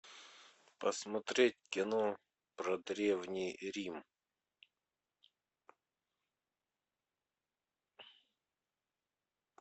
посмотреть кино про древний рим